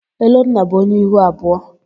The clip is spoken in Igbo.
Elonna bụ onye ihu abụọ.